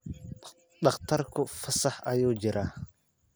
Dhakhtarku fasax ayuu ku jiraa.